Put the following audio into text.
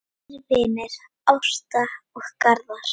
Þínir vinir Ásta og Garðar.